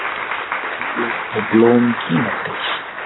Laufblöð og blóm kínatrés.